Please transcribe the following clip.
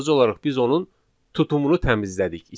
Sadəcə olaraq biz onun tutumunu təmizlədik,